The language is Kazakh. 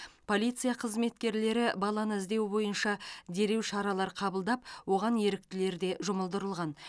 полиция қызметкерлері баланы іздеу бойынша дереу шаралар қабылдап оған еріктілер де жұмылдырылған